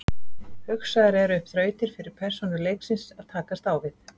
Hugsaðar eru upp þrautir fyrir persónur leiksins að takast á við.